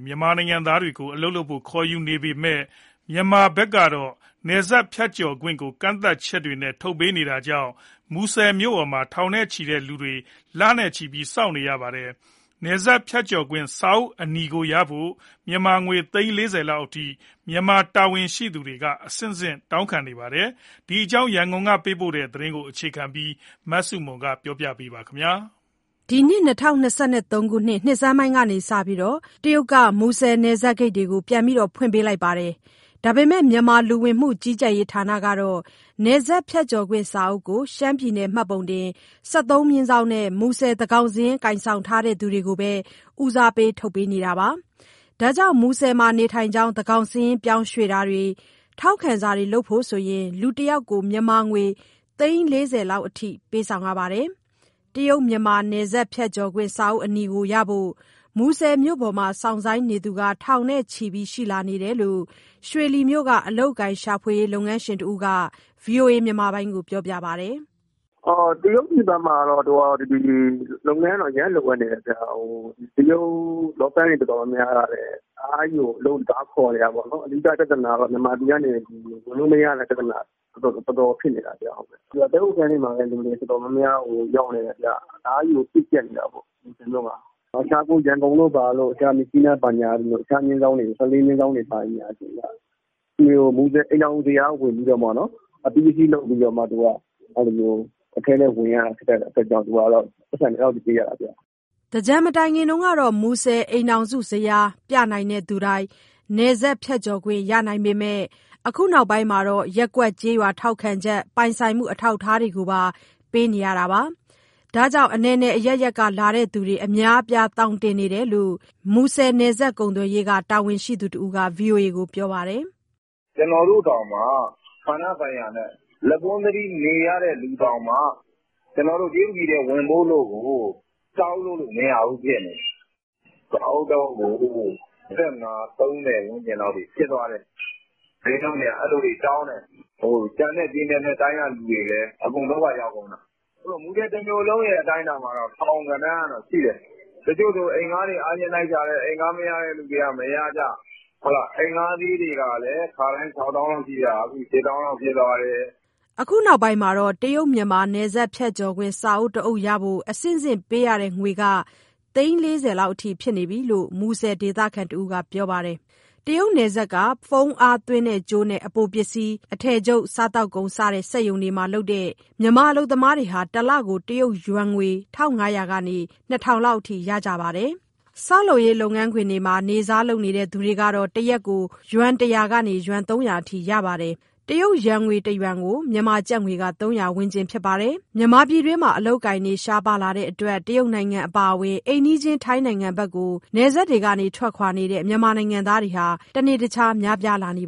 မြန်မာနိုင်ငံသားတွေကို ခေါ်ယူနေပေမဲ့ မြန်မာဘက်ကတော့ နယ်စပ်ဖြတ်ကျော်ခွင့်ကို ကန့်သတ်ချက်တွေနဲ့ ထုတ်ပေးနေတာကြောင့် မူဆယ်မြို့ပေါ်မှာ ထောင်နဲ့ချီတဲ့လူတွေ လနဲ့ချီပြီး စောင့်ဆိုင်းနေရပါတယ်။ နယ်စပ်ဖြတ်ကျော်ခွင့် စာအုပ်အနီကိုရဖို့ မြန်မာငွေ သိန်း ၄၀လောက်အထိ မြန်မာတာဝန်ရှိသူတွေက အဆင့်ဆင့် တောင်းခံနေတာပါ။ ဒီအကြောင်း ရန်ကုန်ကပေးပို့တဲ့ သတင်းကို အခြေခံပြီး မဆုမွန် ပြောပြမှာပါ။ အခု ၂၀၂၃ နှစ်ဆန်းပိုင်းကစပြီး တရုတ်က မူဆယ်နယ်စပ်ဂိတ်တွေကို ပြန်ဖွင့်ပေးလိုက်ပေမဲ့ မြန်မာ လူဝင်မှုကြီးကြပ်ရေး ဌာနကတော့ နယ်စပ်ဖြတ်ကျော်ခွင့် စာအုပ်ကို ရှမ်းပြည်နယ် မှတ်ပုံတင် ၁၃/နဲ့၊ မူဆယ်သန်းခေါင်စာရင်း ကိုင်ဆောင်ထားသူတွေကိုပဲ ဦးစားပေး ထုတ်ပေးနေတာပါ။ ဒါကြောင့် မူဆယ်မှာ နေထိုင်ကြောင်း သန်းခေါင်စာရင်း ပြောင်းရွှေ့တာတွေ၊ ထောက်ခံစာတွေလုပ်ဖို့ လူတယောက်ကို မြန်မာငွေ သိန်း ၄၀လောက်အထိ ပေးနေရပါတယ်။ တရုတ်-မြန်မာ နယ်စပ်ဖြတ်ကျော်ခွင့် စာအုပ်အနီကိုရဖို့ မူဆယ်မြို့ပေါ်မှာ စောင့်ဆိုင်းနေသူက ထောင်နဲ့ချီရှိလာကြောင်း ရွှေလီမြို့က အလုပ်အကိုင်ရှာဖွေရေး လုပ်ငန်းရှင်တဦးက ဗွီအိုအေကို ပြောပါတယ်။ "တရုတ်ပြည်ဘက်မှာ လုပ်ငန်းက အရမ်းလိုအပ်နေတယ်ဗျ၊ တရုတ်လောပန်းတွေ တော်တော်များများကလည်း တအားကို အလုပ်တွေ ခေါ်နေတာပေါ့နော်။ အဓိကပြဿနာက မြန်မာပြည်ကနေ ဝင်လို့မရတာ တော်တော်ဖြစ်နေတာ။ တည်းခိုခန်းတွေမှာ လူတွေတော်တော်များများ ရောက်နေတယ်။ တအားကြီးကို ပြည့်ကျပ်နေတာပေါ့။ ရန်ကုန်တို့၊ မြစ်ကြီးနား တခြားမျဉ်းစောင်းတွေ ၁၄/ တွေဆို မူဆယ် အိမ်ထောင်စုဇယားဝင်ပြီး အပြီးအစီး လုပ်ပြီးတော့မှ အထဲဝင်ရတာဖြစ်တဲ့ အတွက်ကြောင့်မို့ ပိုက်ဆံတွေ အဲဒီလောက်ပေးရတာ။" သင်္ကြန်မတိုင်ခင်က မူဆယ်အိမ်ထောင်စုဇယား ပြနိုင်တဲ့သူတိုင်း နယ်စပ်ဖြတ်ကျော်ခွင့် ရနိုင်ပေမဲ့ အခုနောက်ပိုင်းမှာ ရပ်ကွက်၊ ကျေးရွာထောက်ခံချက်၊ ပိုင်ဆိုင်မှု အထောက်အထားတွေကိုပါ ပေးနေရတာပါ။ ဒါကြောင့် အနယ်နယ်အရပ်ရပ်က လာတဲ့သူတွေ အများအပြား သောင်တင်နေတာလို့ မူဆယ် နယ်စပ်ကုန်သွယ်ရေးက တာဝန်ရှိသူတဦးက ဗွီအိုအေကို ပြောပါတယ်။ "ကျနော်တို့တောင်မှ၊ ဌာနဆိုင်ရာနဲ့ လက်ပွန်းတတီး နေရသူတောင်မှ ကျနော်တို့ တရုတ်ပြည်ထဲဝင်ဖို့ကို စာအုပ်လုပ်လို့မရဘူး ဖြစ်နေတယ်။ စာအုပ်တအုပ်ကို ၂၅ ၊ ၃၀လောက်အထိ ဖြစ်သွားတယ်။ စျေးနှုန်းတွေက အဲလိုတွေတောင်းတယ်။ ကျန်တဲ့ ပြည်နယ်နဲ့တိုင်းက သူတွေလည်း အကုန် ဒုက္ခရောက်ကုန်တာ။ မူဆယ်တမြို့လုံးရဲ့ အတိုင်းအတာမှာ ထောင်ဂဏန်းရှိတယ်။ တချို့ဆို အိမ်အငှားတွေ အားချင်းလိုက်ရှာတယ်၊ မရတဲ့သူတွေက မရကြ၊ အိမ်ငှားစျေးတွေက ခါတိုင်း ၆သောင်းလောက် ရှိတဲ့ဟာ အခု ၈သောင်းလောက် ဖြစ်သွားတယ်။" အခုနောက်ပိုင်းမှာ တရုတ်-မြန်မာ နယ်စပ်ဖြတ်ကျော်ခွင့် စာအုပ်တအုပ်ရဖို့ အဆင့်ဆင့်ပေးရတဲ့ငွေက သိန်း ၄၀လောက် ဖြစ်နေပြီလို့ မူဆယ် ဒေသခံတဦးက ပြောပါတယ်။ တရုတ်နယ်စပ်က ဖုန်းအားသွင်းကြိုးနဲ့ အပိုပစ္စည်း၊ အထည်ချုပ်၊ စားသောက်ကုန် စတဲ့ စက်ရုံတွေမှာလုပ်တဲ့ မြန်မာ အလုပ်သမားတွေက တလကို တရုတ်ယွမ်ငွေ ၁,၅၀၀ ကနေ ၂,၀၀၀ အထိ ရကြပါတယ်။ ဆောက်လုပ်ရေး လုပ်ငန်းခွင်တွေမှာ နေ့စားလုပ်တဲ့ သူတွေကတော့ တရက်ကို ယွမ် ၁၀၀ ကနေ ၃၀၀ အထိ ရပါတယ်။ တရုတ်ငွေ တယွမ်ကို မြန်မာကျပ်ငွေက ၃၀၀ ဝန်းကျင်ဖြစ်ပါတယ်။ ပြည်တွင်းမှာ အလုပ်အကိုင်တွေ ရှားပါလာတဲ့အတွက် တရုတ်နိုင်ငံအပါအဝင် အိမ်နီးချင်း ထိုင်းနိုင်ငံကို နယ်စပ်ကနေ ထွက်ခွာနေတဲ့ မြန်မာနိုင်ငံသားတွေဟာ တနေ့တခြား များပြားလာနေ